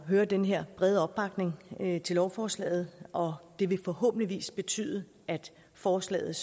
høre den her brede opbakning til lovforslaget og det vil forhåbentligvis betyde at forslaget